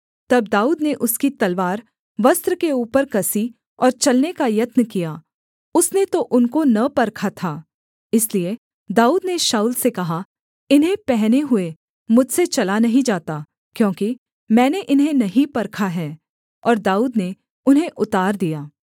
तब दाऊद ने उसकी तलवार वस्त्र के ऊपर कसी और चलने का यत्न किया उसने तो उनको न परखा था इसलिए दाऊद ने शाऊल से कहा इन्हें पहने हुए मुझसे चला नहीं जाता क्योंकि मैंने इन्हें नहीं परखा है और दाऊद ने उन्हें उतार दिया